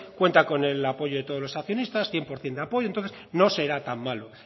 cuenta con el apoyo de todos los accionistas cien por ciento de apoyo entonces no será tan malo